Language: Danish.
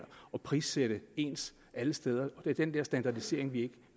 og prissætte ens alle steder det er den der standardisering vi